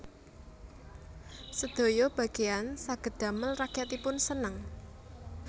Sedaya bageyan saged damel rakyatipun seneng